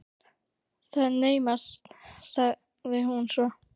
Það er naumast- sagði hún svo.